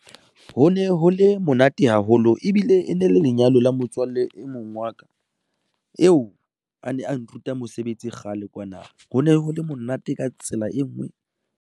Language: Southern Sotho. Ho ne ho le monate haholo ebile e ne le lenyalo la motswalle e mong wa ka eo a ne a nruta mosebetsi kgale kwana ho ne ho le monate ka tsela e ngwe.